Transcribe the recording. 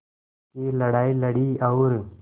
की लड़ाई लड़ी और